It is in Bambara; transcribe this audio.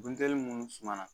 Buntɛli minnu suma na